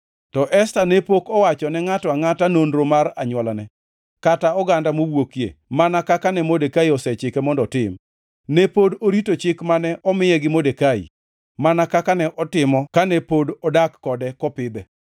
To Esta ne pok owacho ne ngʼato angʼata nonro mar anywolane kata oganda mowuokie mana kaka ne Modekai osechike mondo otim, ne pod orito chik mane omiye gi Modekai mana kaka ne otimo kane pod odak kode kopidhe.